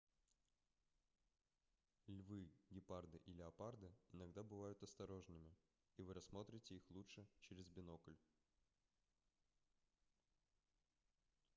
львы гепарды и леопарды иногда бывают осторожными и вы рассмотрите их лучше через бинокль